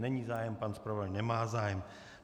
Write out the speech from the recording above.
Není zájem, pan zpravodaj nemá zájem.